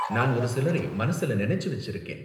நான் ஒரு சிலரை மனசுல நினைச்சு வெச்சிருக்கேன்.